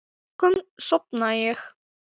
Að lokum sofnaði ég.